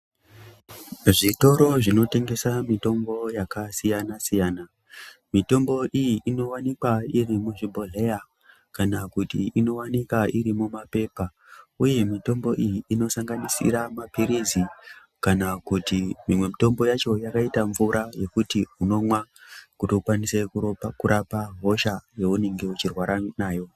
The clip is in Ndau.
Zvitoro zvinotengesa mitombo yakasiyana siyana , mitombo iyi inowanikwaa iri muzvibhodhleyaa, kana kuti inowanika iri mumapepa, uye mutombo iyi inosanganisira mapirizi kana kuti imwe mitombo yacho yakaita mvuraa yekuti unomwaa kuti ukwanise kurapa hosha yeunenge uchirwara nayo.